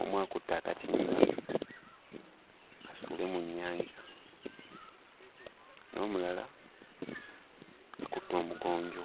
omu akutte akatimba asuule mu nnyanja n'omulala akutte omugonjo.